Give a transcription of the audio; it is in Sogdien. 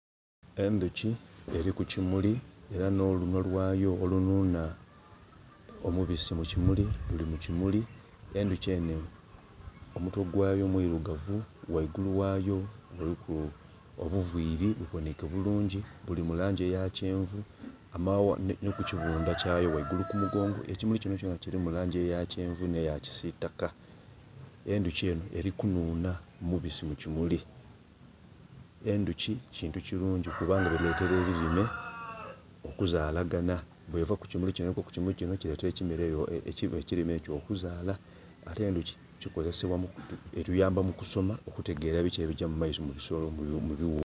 Endhoki eli ku kimuli, era nh'olunhwa lwayo olunhunha omubisi mu kimuli luli mu kimuli. Endhoki enho omutwe gwayo mwirugavu ghaigulu ghayo kuliku obuviiri, bubonheike bulungi, buli mu langi eya kyenvu. Amaghagha...Nhi ku kibundha kyayo ghaigulu ku mugongo. Ekimuli kino kyonakyona kilimu langi eya kyenvu nh'eya kisitaka. Endhoki enho eli kunhunha mubisi mu kimuli. Endhoki kintu kirungi kubanga dhiletera ebilime okuzaalaganha. Bweva ku kimuli kino nh'egwa ku kimuli kino kiletera ekirime ekyo okuzaala. Ate endhoki etuyamba mu kusoma okutegera biki ebigya mu maiso mu bisolo..mu bighuka.